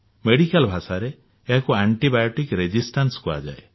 medical ଭାଷାରେ ଏହାକୁ antibiotic ପ୍ରତୋରୋଧି କୁହାଯାଏ